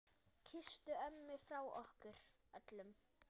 Kysstu ömmu frá okkur öllum.